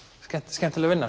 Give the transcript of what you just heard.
skemmtileg vinna